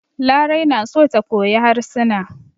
Larai na so ta koyi harsuna.